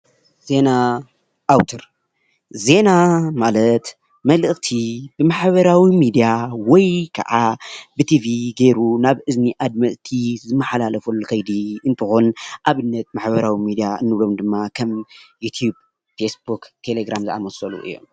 ዜና ኣውትር፡- ዜና ማለት መልእኽቲ ብማሕበራዊ ሚድያ ወይ ከዓ ብቲቪ ጌይሩ ናብ እዝኒ ኣድመፅቲ ዝማሓላለፈሉ ኸይዲ እንትኾን ኣብነት ማሕበራዊ ሚድያ እንብሎም ድማ ከም ዩቲዩብ፣ ፌስቡክ፣ ቴለግራም ዝኣመሰሉ እዮም፡፡